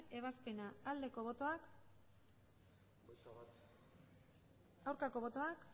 ebazpena aldeko botoak aurkako botoak